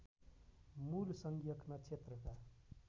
मूल संज्ञक नक्षत्रका